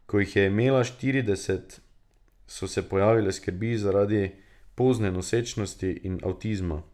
Ko jih je imela štirideset, so se pojavile skrbi zaradi pozne nosečnosti in avtizma.